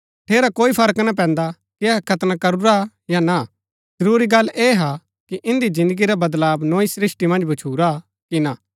ठेरा कोई फर्क ना पैन्दा कि अहै खतना करूरा या ना जरूरी गल्ल ऐह हा कि इन्दी जिन्दगी रा वदलाव नोई सृष्‍टि मन्ज भच्छुरा कि ना